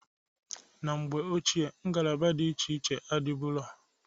Na mgbe ochie ngalaba di iche iche adịbụro.